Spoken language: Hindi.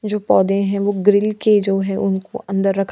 जो पौधे हैं वो ग्रिल के जो है उनको अंदर रखा --